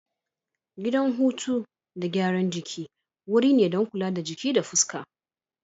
Gidan huto da gyaran jiki wuri ne don kula da jiki da fuska.